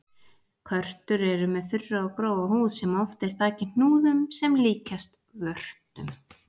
Körtur eru með þurra og grófa húð sem oft er þakin hnúðum sem líkjast vörtum.